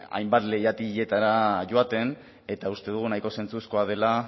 hainbat leihatiletara joaten eta uste dugu nahiko zentzuzkoa dela